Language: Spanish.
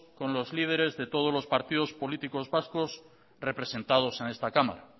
con los lideres de todos los partidos políticos vascos representados en esta cámara